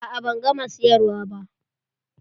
A'a ban gama siyarwa ba.